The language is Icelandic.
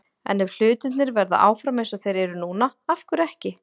En ef hlutirnir verða áfram eins og þeir eru núna- af hverju ekki?